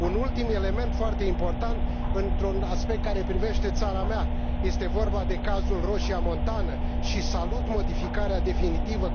Un ultim element foarte important într un aspect care privește țara mea, este vorba de cazul Roșia Montană, și salut modificarea definitivă...